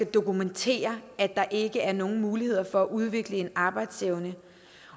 dokumentere at der ikke er nogen muligheder for at udvikle en arbejdsevne